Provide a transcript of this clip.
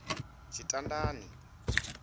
tshitandani